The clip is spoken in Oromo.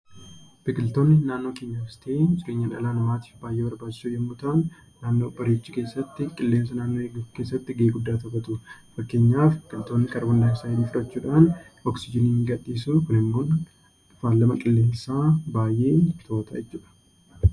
Biqiltoonni naannoo keenyaafis ta'ee dhala namaaf baayyee barbaachisoo yemmuu ta'an, naannoo bareechuu keessatti, qilleensa eeguu keessatti gahee guddaa taphatu. Fakkeenyaaf kaarboondayioksaayidii fudhachuudhaan oksijiinii gadi dhiisuu Kun immoo faalama qilleensaa baayyee to'ata jechuudha.